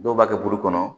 Dɔw b'a kɛ buru kɔnɔ